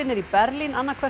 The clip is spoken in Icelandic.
í Berlín annað hvert